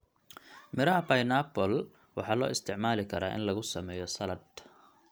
Midhaha pineappla waxaa loo isticmaali karaa in lagu sameeyo saladh.